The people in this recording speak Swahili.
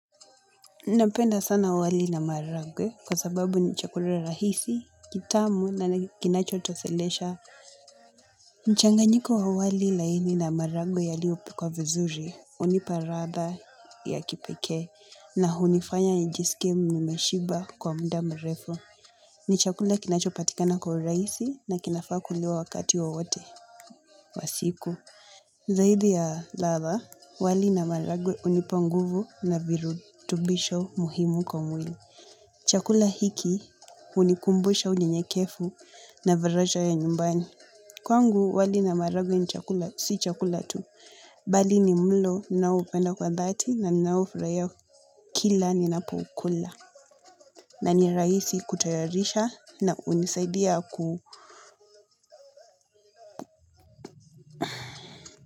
Napenda sana wali na maragwe kwa sababu ni chakula rahisi, kitamu na kinacho toshelesha. Mchanganyiko wa wali laini na maragwe yaliyo pikwa vizuri hunipa ladha ya kipekee na hunifanya njiskie nimeshiba kwa muda mrefu. Ni chakula kinacho patikana kwa urahisi na kinafaa kuliwa wakati wowote wa siku. Zaidi ya ladha wali na maragwe hunipa nguvu na virutubisho muhimu kwa mwili. Chakula hiki hunikumbusha unyenyekevu na viraja ya nyumbani. Kwangu wali na maragwe si chakula tu. Bali ni mlo ninao upenda kwa dhati na ninao ufurahia kila ninapo ukula. Na ni rahisi kutayarisha na hunisaidia ku.